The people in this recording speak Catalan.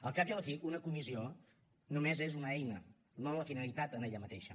al cap i a la fi una comissió només és una eina no una finalitat en ella mateixa